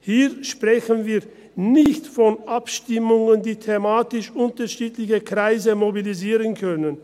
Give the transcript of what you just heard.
Hier sprechen wir nicht von Abstimmungen, die thematisch unterschiedliche Kreise mobilisieren können.